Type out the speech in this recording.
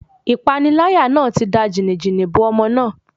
Ìpániláyà náà ti da jìnì-jìnì bo ọmọ náà.